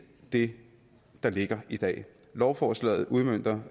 det der ligger i dag lovforslaget udmønter